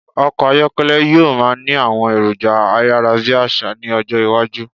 Ọkọ̀ ayọ́kẹ́lẹ̀ yí o máà ni àwọn èròjà ayárábiàsà ni ọjọ́ iwájú